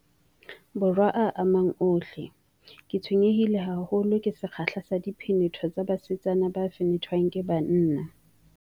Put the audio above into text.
Borwa a mang ohle, ke tshwenye-hile haholo ke sekgahla sa diphenetho tsa basetsana ba fenethwang ke banna.